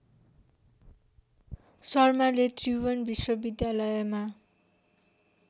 शर्माले त्रिभुवन विश्वविद्यालयमा